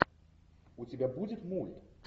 у тебя будет мульт